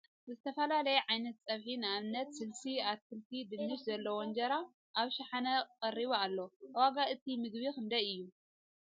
ዝተፈላልየ ዓይነት ፀብሒ ንኣብነት ስልሲ ፣ ኣትክልቲ ን ድንሽን ዘለዎ እንጀራ ኣብ ሽሓነ ቀሪቡ እሎ ። ዋጋ ንይቲ ምግቢ ክንደይ እዩ ?